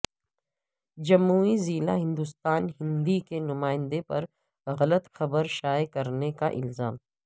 جموئی ضلع ہندوستان ہندی کے نمائندے پر غلط خبر شائع کرنے کا الزام